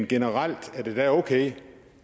generelt okay